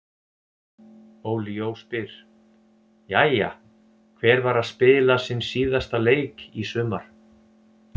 Óli Jó spyr: Jæja, hver var að spila sinn síðasta leik í sumar?